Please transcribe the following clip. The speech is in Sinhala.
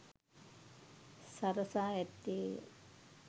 සරසා ඇත්තේ ය.